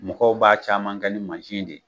Mɔgɔw b'a caman kɛ ni mansi de ye